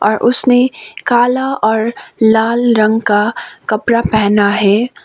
और उसने काला और लाल रंग का कपड़ा पहना है।